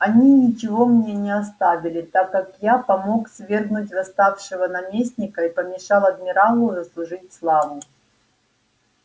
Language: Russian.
они ничего мне не оставили так как я помог свергнуть восставшего наместника и помешал адмиралу заслужить славу